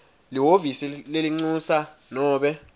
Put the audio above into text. lihhovisi lelincusa nobe